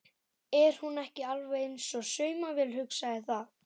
Er hún ekki alveg eins og saumavél, hugsaði það.